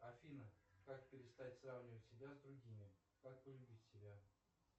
афина как перестать сравнивать себя с другими как полюбить себя